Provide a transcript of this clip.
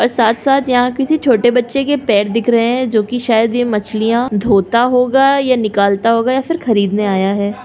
और साथ साथ यहाँ किसी छोटे बच्चे के पैर दिख रहे हैं जो की शायद यह मछलियां धोता होगा या निकलता होगा या फिर खरीदने आया है।